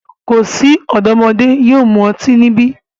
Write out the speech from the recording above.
Ko si ọdọmodẹ yóò mu ọti nibi!